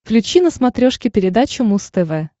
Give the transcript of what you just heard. включи на смотрешке передачу муз тв